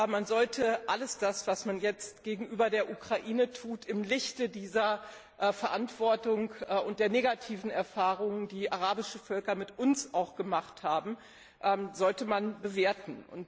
Man sollte aber alles das, was man jetzt gegenüber der Ukraine tut, im Lichte dieser Verantwortung und der negativen Erfahrung, die arabische Völker mit uns auch gemacht haben, bewerten.